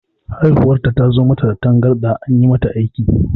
Haihuwar ta zo mata da tangarɗa, an yi mata aiki.